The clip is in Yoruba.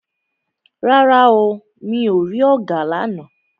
Rárá o, mi ò rí ọ̀gà lána.